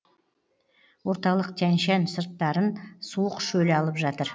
орталық тянь шань сырттарын суық шөл алып жатыр